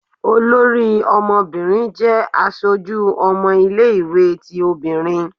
Olorí ọmọbirin jẹ aṣoju ọmọ ile-iwetí obinrín.